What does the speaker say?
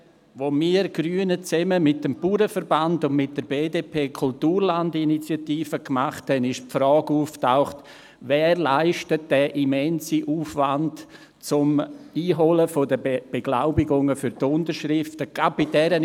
Als wir Grünen zusammen mit dem Bauernverband und mit der BDP die Kulturland-Initiative lancierten, tauchte die Frage auf, wer diesen immensen Aufwand leistet, die Beglaubigungen für die Unterschriften einzuholen.